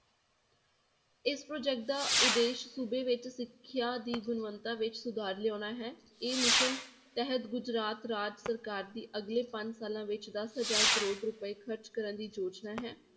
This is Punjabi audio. ਇਸ project ਦਾ ਉਦੇਸ਼ ਸੂਬੇ ਵਿੱਚ ਸਿੱਖਿਆ ਦੀ ਗੁਣਵਤਾ ਵਿੱਚ ਸੁਧਾਰ ਲਿਆਉਣਾ ਹੈ ਇਹ mission ਤਹਿਤ ਗੁਜਰਾਤ ਰਾਜ ਸਰਕਾਰ ਦੀ ਅਗਲੇ ਪੰਜ ਸਾਲਾਂ ਵਿੱਚ ਦਸ ਹਜ਼ਾਰ ਕਰੌੜ ਰੁਪਏ ਖ਼ਰਚ ਕਰਨ ਦੀ ਯੋਜਨਾ ਹੈ